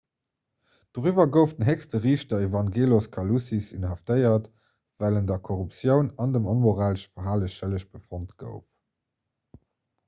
doriwwer gouf den héchste riichter evangelos kalousis inhaftéiert well en der korruptioun an dem onmoralesche verhale schëlleg befonnt gouf